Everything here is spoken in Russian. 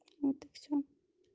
вот и все